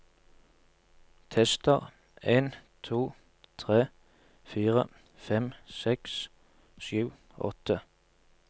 Tester en to tre fire fem seks sju åtte